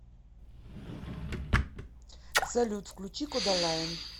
салют включи кодалайн